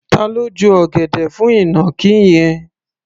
Ta ló ju ọ̀gẹ̀dẹ̀ fún ìnàkí yẹn?